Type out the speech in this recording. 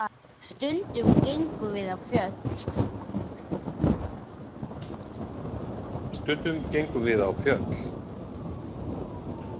Stundum gengum við á fjöll.